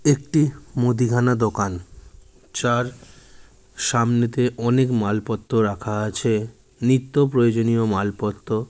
একটি মুদিখানা দোকান যার সামনেতে অনেক মালপত্র রাখা আছে নিত্য প্রয়োজনীয় মালপত্র।